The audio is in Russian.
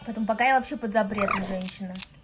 поэтому пока я вообще под запретом женщина